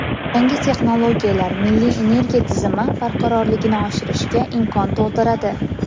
Yangi texnologiyalar milliy energiya tizimi barqarorligini oshirishga imkon tug‘diradi.